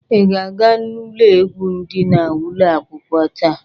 Ị ga-aga ụlọ egwu di na ụlọ akwụkwọ taa?